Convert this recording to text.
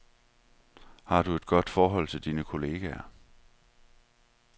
Har du et godt forhold til dine kollegaer?